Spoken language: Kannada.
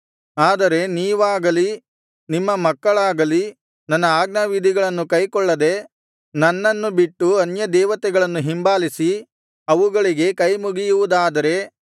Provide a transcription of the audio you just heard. ಆದರೆ ನೀವಾಗಲಿ ನಿಮ್ಮ ಮಕ್ಕಳಾಗಲಿ ನನ್ನ ಆಜ್ಞಾವಿಧಿಗಳನ್ನು ಕೈಕೊಳ್ಳದೆ ನನ್ನನ್ನು ಬಿಟ್ಟು ಅನ್ಯದೇವತೆಗಳನ್ನು ಹಿಂಬಾಲಿಸಿ ಅವುಗಳಿಗೆ ಕೈಮುಗಿಯುವುದಾದರೆ